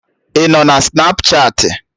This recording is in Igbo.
Ịnọ na Snapchatị?